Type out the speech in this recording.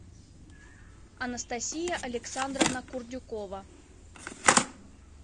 анастасия александровна курдюкова